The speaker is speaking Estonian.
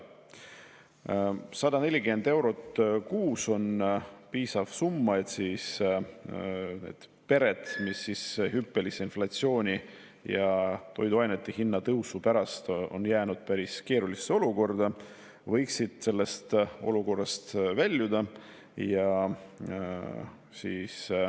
140 eurot kuus on piisav summa, et need pered, kes hüppelise inflatsiooni ja toiduainete hinna tõusu pärast on jäänud päris keerulisse olukorda, võiksid sellest olukorrast välja pääseda.